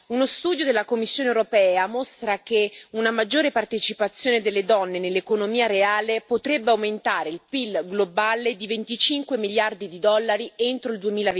Uno studio della Commissione europea mostra che una maggiore partecipazione delle donne nell'economia reale potrebbe aumentare il Pil globale di 25 miliardi di dollari entro il